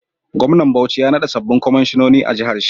Gwamnan bauchi ya nada sabobin kwaishinoni a jahar shi